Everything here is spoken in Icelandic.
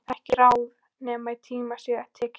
Ekki ráð nema í tíma sé tekið.